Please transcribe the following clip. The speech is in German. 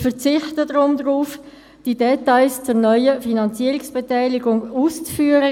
Ich verzichte deshalb darauf, die Details zur neuen Finanzierungsbeteiligung auszuführen.